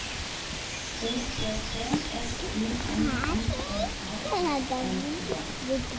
O P P S U M M E R I N G